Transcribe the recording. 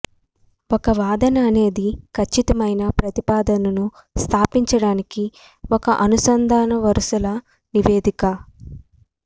ఒక వాదన అనేది ఖచ్చితమైన ప్రతిపాదనను స్థాపించడానికి ఒక అనుసంధాన వరుసల నివేదిక